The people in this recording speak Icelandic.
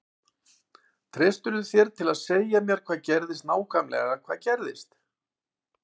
Treystirðu þér til að segja mér hvað gerðist nákvæmlega hvað gerðist?